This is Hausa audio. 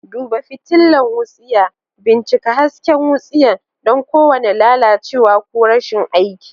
Duba fitilar wutsiya. Bincika hasken wutsiya don kowane lalacewa ko rashin aiki.